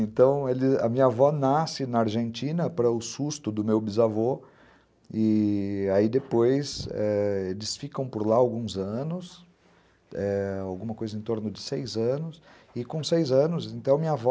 Então, a minha avó nasce na Argentina, para o susto do meu bisavô, e aí depois eh eles ficam por lá alguns anos, é, alguma coisa em torno de seis anos, e com seis anos, então minha avó,